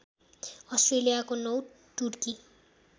अस्ट्रेलियाको नौ टुकडी